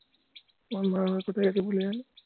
মন ভরানোর কোথায় আছে বলে যায়না